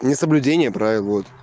несоблюдение правил вот